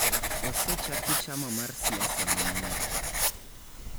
Osechaki chama mar siasa manyien.